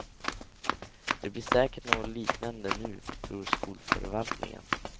Det blir säkert något liknande nu tror skolförvaltningen.